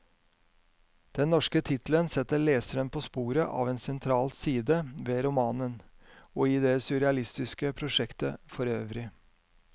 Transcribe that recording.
Den norske tittelen setter leseren på sporet av en sentral side ved romanen, og i det surrealistiske prosjektet forøvrig.